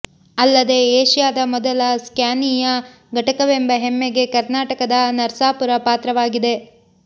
ಅಲ್ಲದೆ ಏಷ್ಯಾದ ಮೊದಲ ಸ್ಕಾನಿಯಾ ಘಟಕವೆಂಬ ಹೆಮ್ಮೆಗೆ ಕರ್ನಾಟಕದ ನರ್ಸಾಪುರ ಪಾತ್ರವಾಗಿದೆ